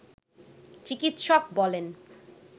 চিকিৎসক বলেন